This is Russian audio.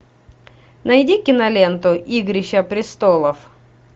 найди киноленту игрища престолов